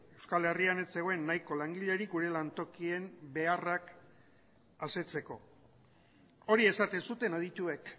euskal herrian ez zegoen nahiko langilerik gure lantokien beharrak asetzeko hori esaten zuten adituek